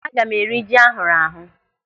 Aga m eri ji ahụrụ ahụ